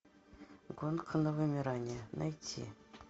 гонка на вымирание найти